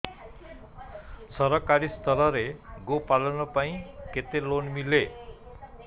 ସରକାରୀ ସ୍ତରରେ ଗୋ ପାଳନ ପାଇଁ କେତେ ଲୋନ୍ ମିଳେ